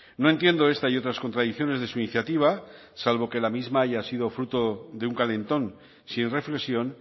no entiendo esta y otras contradicciones de su iniciativa salvo que la misma haya sido fruto de un calentón sin reflexión